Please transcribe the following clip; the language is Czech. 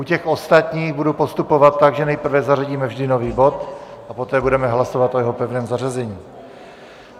U těch ostatních budu postupovat tak, že nejprve zařadíme vždy nový bod a poté budeme hlasovat o jeho pevném zařazení.